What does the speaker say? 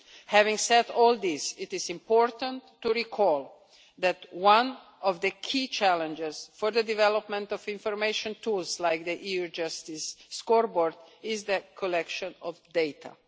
Having said all this, it is important to recall that one of the key challenges for the development of information tools like the EU Justice Scoreboard is the collection of data.